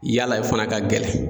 Yala o fana ka gɛlɛn.